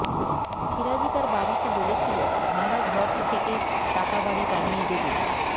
সিরাজী তাঁর বাবাকে বলেছিল ভাঙ্গা ঘর থেকে পাকা বাড়ি বানিয়ে দেবে